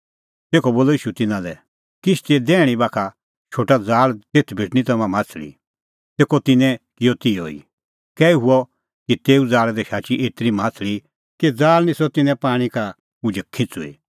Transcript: तेखअ बोलअ ईशू तिन्नां लै किश्तीए दैहणीं बाखा शोटा ज़ाल़ तेथ भेटणीं तम्हां माह्छ़ली तेखअ तिन्नैं किअ तिहअ ई कै हुअ कि तेऊ ज़ाल़ा दी शाची एतरी माह्छ़ली कि ज़ाल़ निस्सअ तिन्नें पाणीं का उझै खिंच़ुई